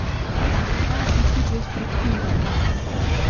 Zna biti destruktivna.